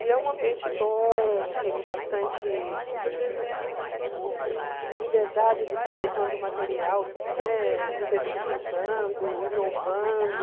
E é um ambiente bom, tenho bastante liberdade de estar levando material, né, diversificando, inovando.